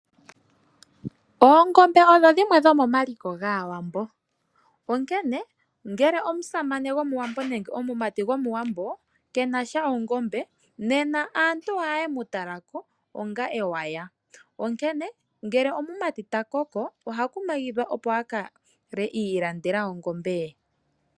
Oonkombe odho dhimwe dho mo maliko gaawambo ,onkene ngele omusamene go muwambo nenge omumati go muwambo kenasha oongombe, nena aantu ohaye mu talako onga oweya, onkene ngele omumati ta koko oha kumagidhwa opo a kale iilandela ongombe ye.